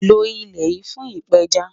Lọ ilẹ́ yìí fún ìpẹ́já